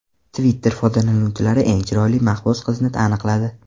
Twitter foydalanuvchilari eng chiroyli mahbus qizni aniqladi.